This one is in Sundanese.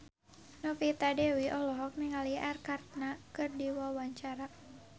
Novita Dewi olohok ningali Arkarna keur diwawancara